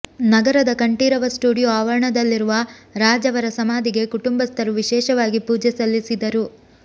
ನಗರದ ಕಂಠೀರವ ಸ್ಟುಡಿಯೊ ಆವರಣದಲ್ಲಿರುವ ರಾಜ್ ಅವರ ಸಮಾಧಿಗೆ ಕುಟುಂಬಸ್ಥರು ವಿಶೇಷವಾಗಿ ಪೂಜೆ ಸಲ್ಲಿಸಿದರು